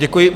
Děkuji.